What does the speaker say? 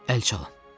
Əl çalın.